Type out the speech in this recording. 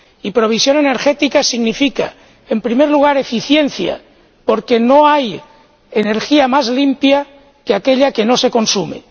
Y provisión energética significa, en primer lugar, eficiencia, porque no hay energía más limpia que aquella que no se consume.